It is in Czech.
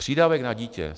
Přídavek na dítě.